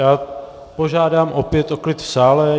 Já požádám opět o klid v sále.